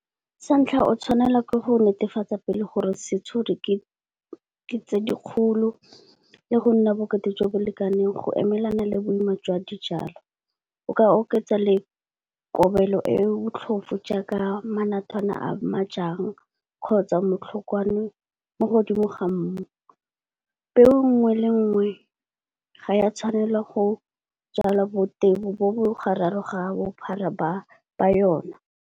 Sa ntlha o tshwanela ke go netefatsa pele gore century ke tse dikgolo le go nna bokete jo bo lekaneng go emelana le boima jwa dijalo. O ka oketsa le kobelo e botlhofo jaaka manathwana a ma jang, kgotsa motlhokwane mo godimo ga mmu. Peo nngwe le nngwe, ga ya tshwanela go jalwa bo tebo bo bo gararo ga bophara ba ba yona.